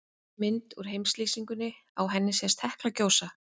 Hér er mynd úr heimslýsingunni, á henni sést Hekla gjósa.